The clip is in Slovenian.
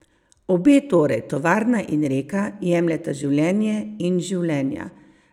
Obe torej, tovarna in reka, jemljeta življenje in življenja.